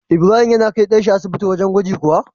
Ibrahim yana kai dan shi asibiti wajan gwaji kuwa?